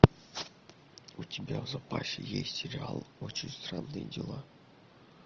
у тебя в запасе есть сериал очень странные дела